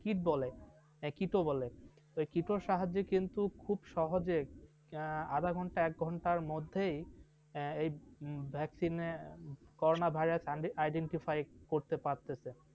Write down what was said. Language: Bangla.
kit বলে, kit বলে, kit র সাহায্যে কিন্তু খুব সহজে, আধা ঘণ্টা একঘণ্টার মধ্যে এই vaccine corona virus আর identify করতে পারতেছে।